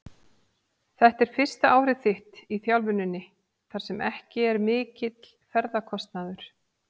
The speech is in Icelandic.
Þetta er fyrsta árið þitt í þjálfuninni þar sem ekki er mikill ferðakostnaður?